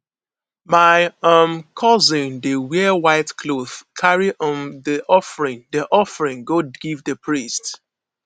my um cousin dey wear white cloth carry um di offering di offering go give di priest